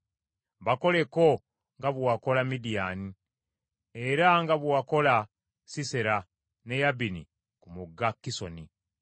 Bakoleko nga bwe wakola Midiyaani, era nga bwe wakola Sisera ne Yabini ku mugga Kisoni,